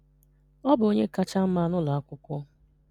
Ọ bụ onye kacha mma n'ụlọ akwụkwọ.